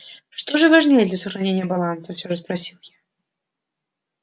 что же важнее для сохранения баланса всё же спросил я